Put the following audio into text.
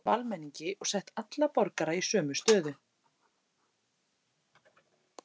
En harðstjórnin hafði einmitt tekið völdin af almenningi og sett alla borgara í sömu stöðu.